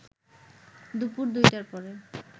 দুপুর ২টার পরে